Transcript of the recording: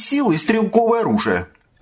силы и стрелковое оружие